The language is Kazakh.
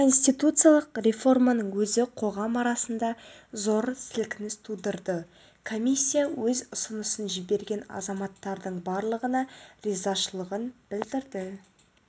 конституциялық реформаның өзі қоғам арасында зор сілкініс тудырды комиссия өз ұсынысын жіберген азаматтардың барлығына ризашылығын білдіреді